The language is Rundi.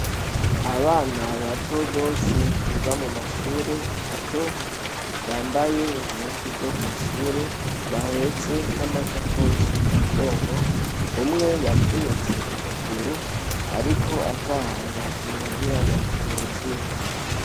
Abana ba banyeshure biga mu mashure y'intango bahetse n' amasakoshi y' ibitenge bafatanye kubitugu, umw' asankaho yavunits' ukuguru, arikugenda yifadikije mugenzi we kugir' ashobore kumushikana muhira.